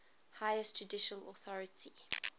highest judicial authority